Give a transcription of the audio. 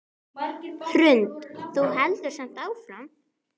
Hrund: Þú heldur samt áfram?